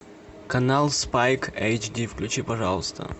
канал спайк эйч ди включи пожалуйста